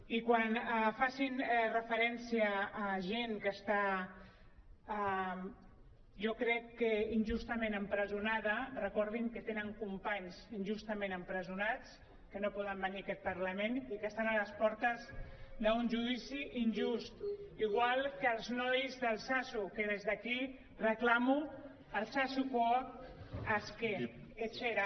i quan facin referència a gent que està jo crec que injustament empresonada recordin que tenen companys injustament empresonats que no poden venir a aquest parlament i que estan a les portes d’un judici injust igual que els nois d’altsasu que des d’aquí reclamo altsasukoak aske etxera